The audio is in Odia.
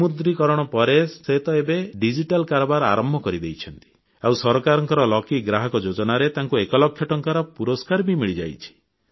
ବିମୁଦ୍ରୀକରଣ ପରେ ସେ ତ ଏବେ ଡିଜିଟାଲ କାରବାର ଆରମ୍ଭ କରିଦେଇଛନ୍ତି ଆଉ ସରକାରଙ୍କ ଲକି ଗ୍ରାହକ ଯୋଜନାରେ ତାଙ୍କୁ ଏକ ଲକ୍ଷ ଟଙ୍କାର ପୁରସ୍କାର ବି ମିଳିଯାଇଛି